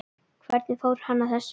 Hvernig fór hann að þessu?